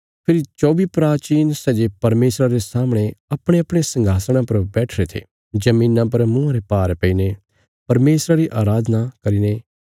फेरी चौबी प्राचीन सै जे परमेशरा रे सामणे अपणेअपणे संघासणा पर बैठिरे थे धरतिया पर मुँआं रे भार पईने परमेशरा री अराधना करीने